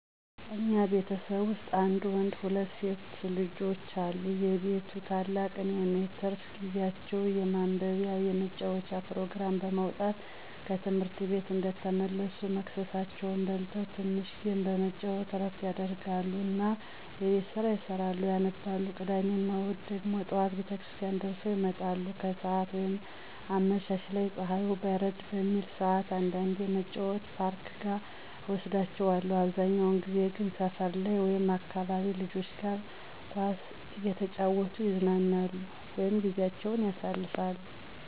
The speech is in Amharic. እኛ ቤተሰብ ዉስጥ አንድ ወንድ ሁለት ሴት ልጆች አሉ የቤቱ ታላቅ እኔ ነኝ። ትርፍ ጊዜአቸዉን የማንበቢያ፣ የመጫዎቻ ፕሮግራም በማዉጣት ከትምህርትቤት እንደተመለሱ መክሰሳቸዉን በልተዉ ትንሽ ጌም በመጫወት እረፍት ያደርጉ እና የቤት ስራ ይሰራሉ፣ ያነባሉ። ቅዳሜ እና እሁድን ደሞ ጠዋት ቤተክርስቲያን ደርሰዉ ይመጣሉ፣ ከሰአት ወይም አመሻሽ ላይ ፀሀዩ በረድ በሚልበት ሰዕት አንዳንዴ መጫዎቻ ፓርኮች ጋ እወስዳቸዋለሁ አብዛኛዉን ጊዜ ግን ሰፈር ላይ ወይም ከአካባቢ ልጆች ጋር ኳስ እየተጫወቱ ይዝናናሉ (ጊዜአቸዉን ያሳልፋሉ)።